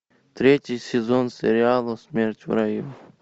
третий сезон сериала смерть в раю